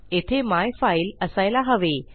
येथे मायफाईल असायला हवे